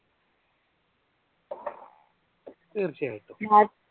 തീർച്ചയായിട്ടും.